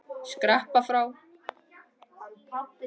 Skreppa frá?